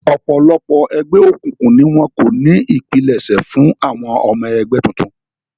Ọ̀pọ̀lọpọ̀ ẹgbẹ́ òkùnkùn ni wọ́n kọ́ ní ipilẹṣẹ fún àwọn ọmọ ẹgbẹ́ tuntun